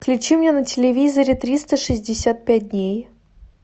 включи мне на телевизоре триста шестьдесят пять дней